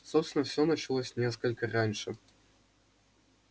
собственно всё началось несколько раньше